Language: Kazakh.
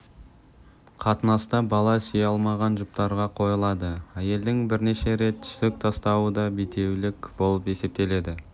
қатынаста бала сүйе алмаған жұптарға қойылады әйелдің бірнеше рет түсік тастауы да бедеулік болып есептеледі